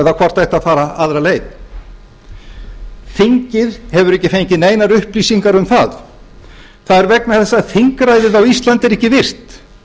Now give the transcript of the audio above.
hvort ætti að fara aðra leið þingið hefur ekki fengið neinar upplýsingar um það það er vegna þess að þingræðið á íslandi er ekki virt